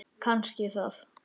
Kannski það.